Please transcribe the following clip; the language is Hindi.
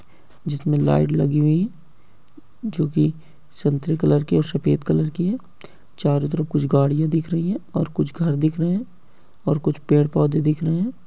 जिसमें लाइट लगी हुई है जो कि संतरे कलर की है और सफ़ेद कलर की है। चारों तरफ कुछ गाड़ियाँ दिख रही हैं और कुछ घर दिख रहे हैं और कुछ पेड़-पौधे दिख रहे हैं।